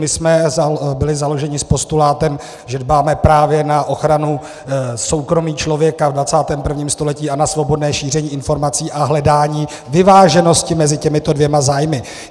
My jsme byli založeni s postulátem, že dbáme právě na ochranu soukromí člověka ve 21. století a na svobodné šíření informací a hledání vyváženosti mezi těmito dvěma zájmy.